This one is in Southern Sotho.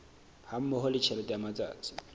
hammoho le tjhelete ya matsatsi